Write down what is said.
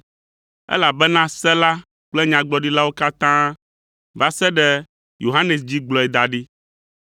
Elabena Se la kple Nyagblɔɖilawo katã va se ɖe Yohanes dzi gblɔe da ɖi,